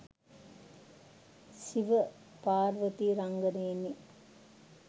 Shiva Parvati රංගනයෙනි.